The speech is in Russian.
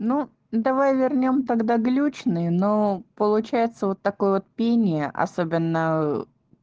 ну давай вернём тогда глючные но получается вот такой вот пение особенно